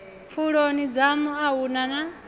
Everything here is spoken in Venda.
pfuloni dzanu a hu na